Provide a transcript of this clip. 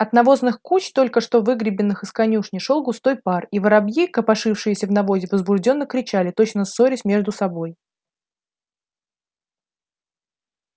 от навозных куч только что выгребенных из конюшни шёл густой пар и воробьи копошившиеся в навозе возбуждённо кричали точно ссорясь между собой